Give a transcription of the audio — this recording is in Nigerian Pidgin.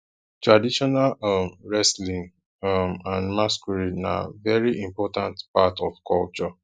traditional um wrestling um and masquerade na very important part of culture